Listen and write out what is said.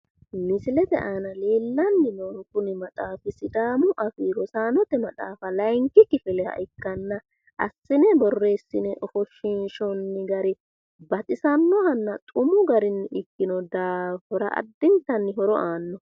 Misilete aana leellanni noohu kuni maxaafi sidaamu afii rosaanote maxaafi layinkki kifileha ikkanna assine borreessine ofoshshishoonni gari baxisannohanna xumu garinni ikkino daafira addintanni horo aanno.